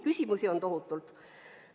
Küsimusi on tohutult.